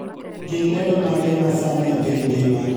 Gin lendo mage masani epiny ngima